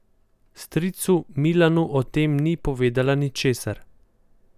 Stricu Milanu o tem ni povedala ničesar.